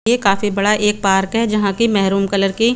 ये काफी बड़ा एक पार्क है जहाँ के मरून कलर की --